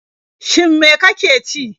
Shin me ka ke ci?